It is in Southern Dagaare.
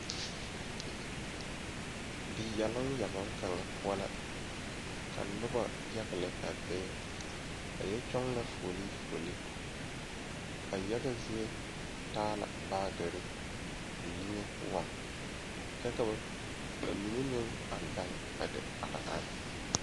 Die yɛloŋ kaŋ poɔ la la be pɛbile poɔ ka kyaanaa poɔ kaa die daŋdɔɔre e ziɛ ka dɔɔ a are a seɛ kuri sɔglaa a su kootu wogi.